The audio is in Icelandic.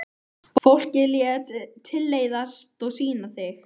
Fólkið lét tilleiðast að sýna þig.